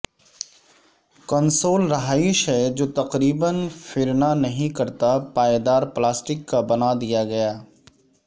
console رہائش ہے جو تقریبا فیرنا نہیں کرتا پائیدار پلاسٹک کا بنا دیا گیا